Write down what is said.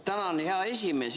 Tänan, hea esimees!